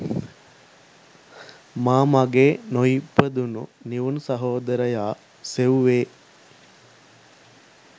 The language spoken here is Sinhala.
මා මගේ නොඉපදුනු නිවුන් සහෝදරයා සෙව්වේ